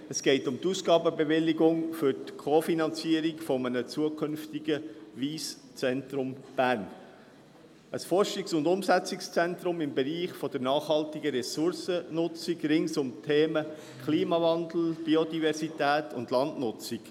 Es geht um die Ausgabenbewilligung für die Co-Finanzierung eines zukünftigen Wyss Centre Bern – ein Forschungs- und Umsetzungszentrum im Bereich der nachhaltigen Ressourcennutzung rund um die Themen Klimawandel, Biodiversität und Landnutzung.